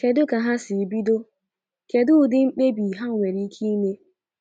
Kedu ka ha si bido? Kedu udi mmebi ha nwere ike ime?